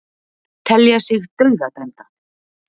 Telja sig dauðadæmda